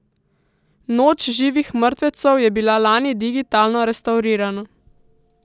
Noč živih mrtvecev je bila lani digitalno restavrirana.